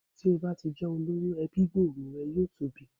Tí o bá jẹ́ olówó, ẹbí gbòòrò rẹ yóò tóbi.